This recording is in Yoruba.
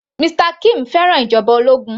Mr kim fẹ́ràn ìjọba ológun